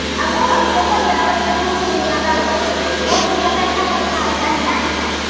अगं तो पंधरा वर्ष्यांच्या मुलीना दाखवायचा आहे पोरगीला काय समजणार आहे घंटा